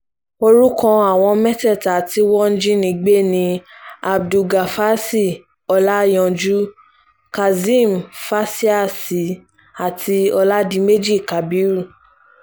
orúkọ àwọn mẹ́tẹ̀ẹ̀ta tí wọ́n jí nigbé ni abdulgafási ọlajànjú kazeem fásiáàsì àti oládiméjì kábírú